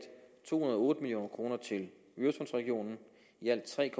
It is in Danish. to hundrede og otte million kroner til øresundsregionen i alt tre